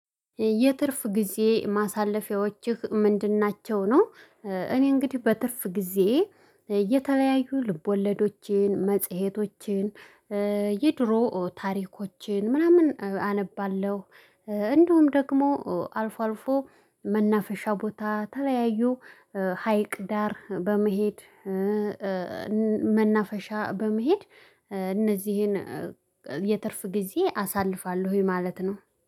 የትርፍ ጊዜ ማሳለፊያዎችህ ምንድን ናቸው ነው? እኔ እንግዲህ በትርፍ ጊዜዬ ልቦለዶችን መጽሄቶችን የድሮ ታሪኮችን ምናምን አነባለሁ። እንዲውም ደግሞ አልፎ አልፎ መናፈሻ ቦታ ተለያዩ ሀይቅ ዳር በመሄድ። መናፈሻ በመሄድ እነዚህን የትርፍ ጊዜ አሳልፋለሁኝ ማለት ነው